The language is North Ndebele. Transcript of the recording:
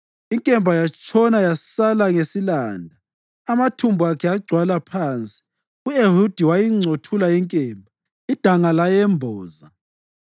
Inkemba yatshona yasala ngesilanda, amathumbu akhe agcwala phansi. U-Ehudi kayingcothulanga inkemba, idanga layemboza.